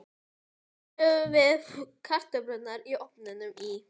Síðan höfum við kartöflurnar í ofninum í